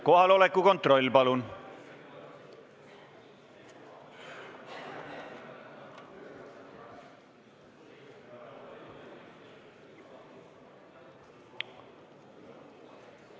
Kohaloleku kontroll, palun!